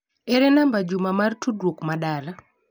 Ere namba Juma mar tudruok ma dala.?